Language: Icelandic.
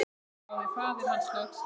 hváði faðir hans loks.